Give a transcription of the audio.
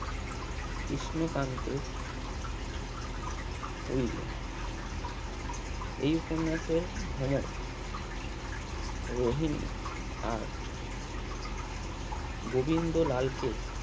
কৃষ্ণকান্তে উইলো এই উপন্যাসের ভ্রমর রহিনী আর গোবিন্দরলালকে